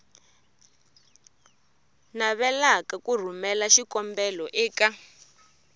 navelaka ku rhumela xikombelo eka